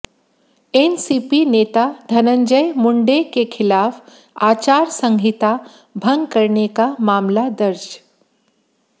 NCP नेता धनंजय मुंडे के खिलाफ आचार संहिता भंग करने का मामला दर्ज